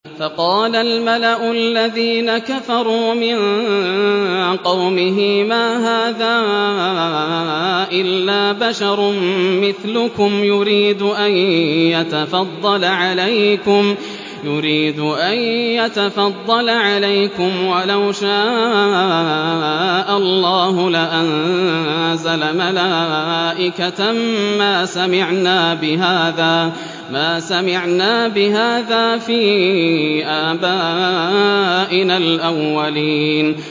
فَقَالَ الْمَلَأُ الَّذِينَ كَفَرُوا مِن قَوْمِهِ مَا هَٰذَا إِلَّا بَشَرٌ مِّثْلُكُمْ يُرِيدُ أَن يَتَفَضَّلَ عَلَيْكُمْ وَلَوْ شَاءَ اللَّهُ لَأَنزَلَ مَلَائِكَةً مَّا سَمِعْنَا بِهَٰذَا فِي آبَائِنَا الْأَوَّلِينَ